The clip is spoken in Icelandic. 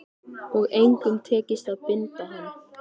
Og engum tekist að binda hann.